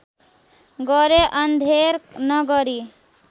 गरे अन्धेर नगरी